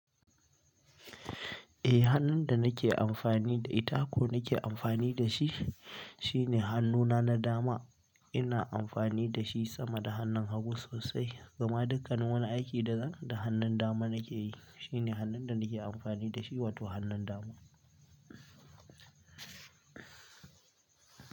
Eh hannun da nake amfani da ita ko nake amfani da shi shine hannuna na dama. Ina amfani da shi sama da hannun hagu sosai, gama dukkanin wani aiki da zan, da hannun dama nake yi. Shine hannun da nake amfani da shi, wato hannun dama.